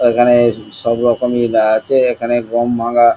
এখানে সব রকমি আছে এখানে গম ভাঙ্গা--